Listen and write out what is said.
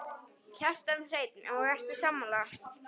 Kjartan Hreinn: Og ertu sammála?